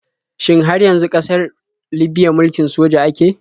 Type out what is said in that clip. Shin har yanzu ƙasar libiya mulkin soja ake?